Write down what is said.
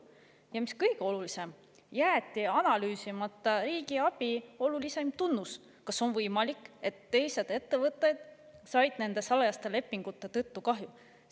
Ja mis kõige olulisem, jäeti analüüsimata riigiabi peamine tunnus: kas on võimalik, et teised ettevõtted said nende salajaste lepingute tõttu kahju?